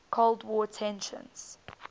cold war tensions